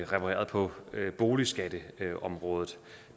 repareret på boligskatteområdet